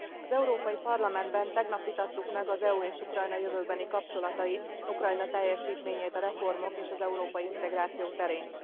Az Európai Parlamentben tegnap vitattuk meg az EU és Ukrajna jövőbeni kapcsolatait, Ukrajna teljesítményét a reformok és az európai integráció terén.